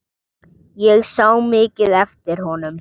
Ég sá mikið eftir honum.